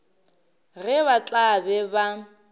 ge ba tla be ba